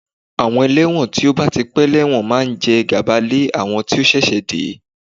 Àwọn ẹlẹ́wọ̀n tí ó bá ti pẹ́ lẹ́wọ̀n máa ń jẹ gàba lé àwọn tí ó ṣẹ̀ṣẹ̀ dé